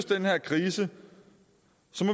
den her krise